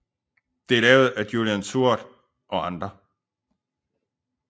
Det er lavet af Julian Seward og andre